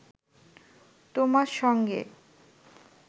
তোমার সঙ্গে